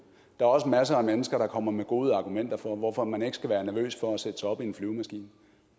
er også masser af mennesker der kommer med gode argumenter for hvorfor man ikke skal være nervøs for at sætte sig op i en flyvemaskine